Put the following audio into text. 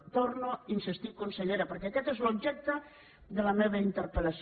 hi torno a insistir consellera perquè aquest és l’objecte de la meva interpel·lació